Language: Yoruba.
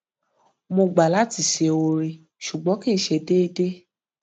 mo gbà láti ṣe oore ṣùgbọn kì í ṣe déédéé